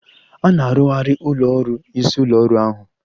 A na-arụzigharị ụlọ ọrụ isi ụlọ ọrụ ahụ.